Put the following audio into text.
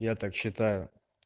я так считаю